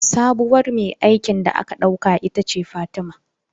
Sabuwar mai aikin da aka ɗauka ita ce Fatima